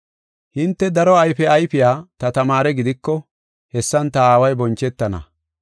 Hinte daro ayfe ayfiya ta tamaare gidiko, hessan ta Aaway bonchetana.